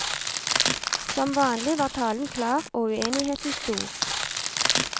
Som vanlig var talen klar og uenigheten stor.